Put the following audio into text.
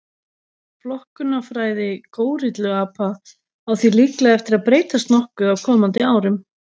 Flokkunarfræði górilluapa á því líklega eftir að breytast nokkuð á komandi árum.